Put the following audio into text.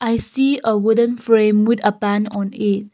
i see a wooden frame with a pen and a.